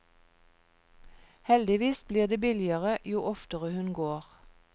Heldigvis blir det billigere jo oftere hun går.